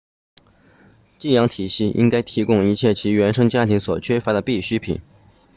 寄养体系应该提供一切其原生家庭所缺乏的必需品